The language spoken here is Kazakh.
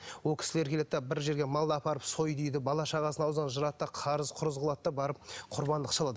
ол кісілер келеді де бір жерге малды апарып сой дейді бала шағасының аузынан жырады да қарыз құрыз қылады да барып құрбандық шалады